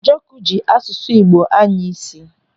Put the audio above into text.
Njọkụ ji asụsụ Igbo anya isi.